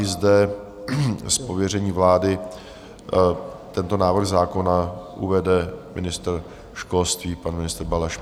I zde z pověření vlády tento návrh zákona uvede ministr školství, pan ministr Balaš.